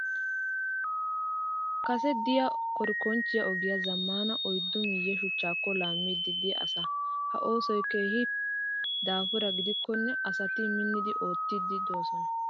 Kase diyaa korikonchchiyaa ogiyaa zammaana oyiddu miyye shuchchaakko laammiiddi diyaa asaa. Ha oosoyi keehi daapura gidikkonne asati minni oottiidi doosona.